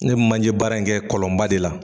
Ne bɛ manje baara in kɛ kɔlɔnba de la.